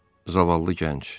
Zavallı gənc.